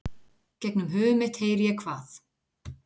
Gegnum höfuð mitt heyri ég hvað